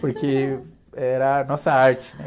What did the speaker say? Porque era a nossa arte